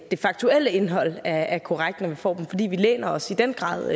det faktuelle indhold er korrekt i dem for vi læner os i den grad